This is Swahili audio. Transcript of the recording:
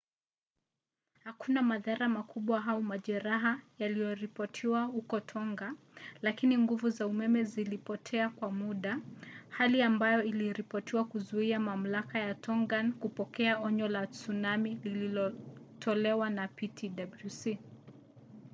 hakuna madhara makubwa au majeraha yaliyoripotiwa huko tonga lakini nguvu za umeme zilipotea kwa muda hali ambayo iliripotiwa kuzuia mamlaka ya tongan kupokea onyo la tsunami lililotolewa na ptwc